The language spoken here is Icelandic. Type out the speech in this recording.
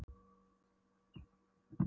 Ég segi það ekki svaraði hann þrjóskulega.